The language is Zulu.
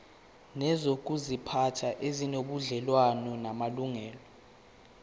nezokuziphatha ezinobudlelwano namalungelo